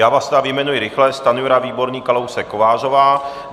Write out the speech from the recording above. Já vás tedy vyjmenuji rychle: Stanjura, Výborný, Kalousek, Kovářová.